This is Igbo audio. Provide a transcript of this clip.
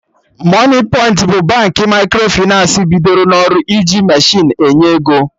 Moniepoint bụ Baankị Microfịnans bidoro n'ọrụ iji mechinu enye ego